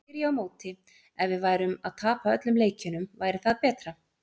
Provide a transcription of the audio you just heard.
Þá spyr ég á móti, ef við værum að tapa öllum leikjunum, væri það betra?